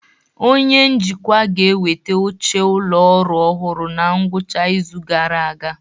Onye njikwa ga-eweta oche ụlọ ọrụ ọhụrụ na ngwụcha izu gara aga